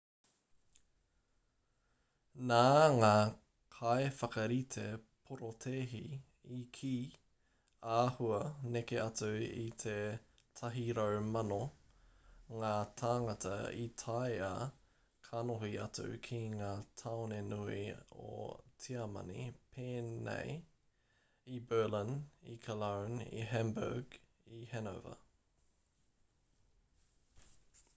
nā ngā kaiwhakarite porotēhi i kī āhua neke atu i te 100,000 ngā tāngata i tae ā kanohi atu ki ngā tāone nui o tiamani pēnei i berlin i cologne i hamburg i hanover